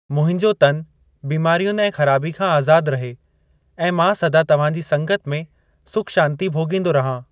मुंहिंजो तन बीमारियुनि ऐं ख़राबी खां आज़ाद रहे ऐं मां सदा तव्‍हांजी संगत में सुख-शांति भोगींदो रहां!